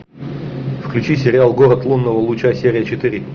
включи сериал город лунного луча серия четыре